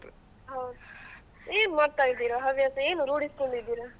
ಹೌದು ಏನ್ ಓದ್ತಾ ಇದ್ದೀರಾ ಹವ್ಯಾಸ ಏನ್ ರೂಡಿಸ್ಕೊಂಡಿದ್ದಿರಾ?